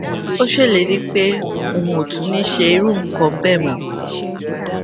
ó ṣèlérí pé òun ò tún ní ṣe irú nǹkan béè mó